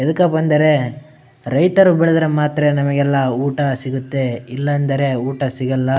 ಎಡಕಪ್ಪ ಅಂದರೆ ರೈತರು ಬೆಳೆದರೆ ಮಾತ್ರ ನಮಗೆಲ್ಲ ಊಟ ಸಿಗುತ್ತೆ ಇಲ್ಲಂದರೆ ಊಟ ಸಿಗಲ್ಲ.